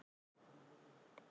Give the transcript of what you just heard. Hver er helsta fæða snáka?